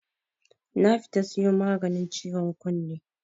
nafita siyo maganin ciwon kunne.